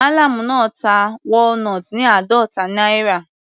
Mallam náà ta walnut ní àádọta náírà.